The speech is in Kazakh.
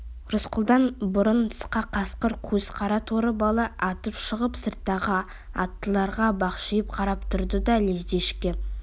рысқұлдан бұрын тысқа қасқыр көз қара торы бала атып шығып сырттағы аттыларға бақшиып қарап тұрды да лезде ішке